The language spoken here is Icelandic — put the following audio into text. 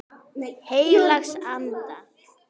Heilags Anda.